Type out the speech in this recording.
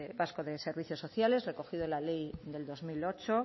vasco de servicios sociales recogido en la ley del dos mil ocho